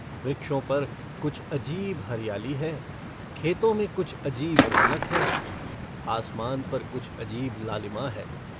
वृक्षों पर कुछ अजीब हरियाली है खेतों में कुछ अजीब रौनक है आसमान पर कुछ अजीब लालिमा है।